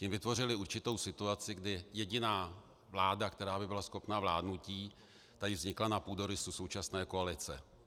Tím vytvořili určitou situaci, kdy jediná vláda, která by byla schopná vládnutí, tady vznikla na půdorysu současné koalice.